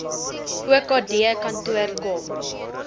okd kantoor kom